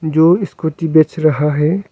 जो स्कूटी बेच रहा है।